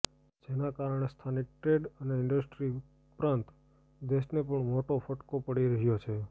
જેને કારણે સ્થાનિક ટ્રેડ અને ઇન્ડસ્ટ્રી ઉપરાંત દેશને પણ મોટો ફટકો પડી રહ્યો છે